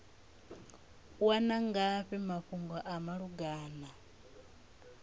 wana ngafhi mafhungo a malugana